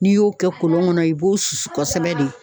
N'i y'o kɛ kolon kɔnɔ i b'o susu kɔsɛbɛ de.